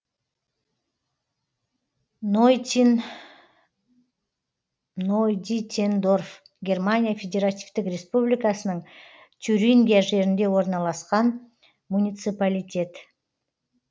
нойдитендорф германия федеративтік республикасының тюрингия жерінде орналасқан муниципалитет